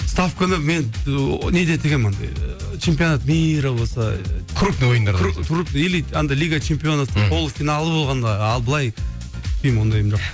ставканы мен ыыы неде тігемін андай ыыы чемпионат мира болса крупный ойындар болса или андай лига чемпионовтың полу финалы болғанда ал былай тікпеймін ондайым жоқ